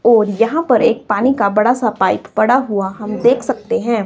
और यहां पर एक पानी का बड़ा सा पाइप पड़ा हुआ हम देख सकते हैं।